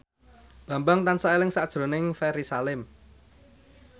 Bambang tansah eling sakjroning Ferry Salim